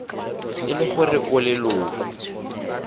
e le gore o leloko